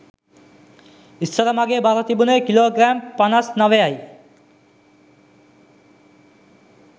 ඉස්සර මගේ බර තිබුණේ කිලෝ ග්‍රෑම් පනස් නවයයි